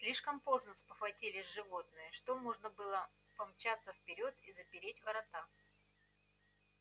слишком поздно спохватились животные что можно было помчаться вперёд и запереть ворота